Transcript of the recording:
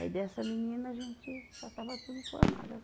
Aí dessa menina a gente já estava tudo formado, as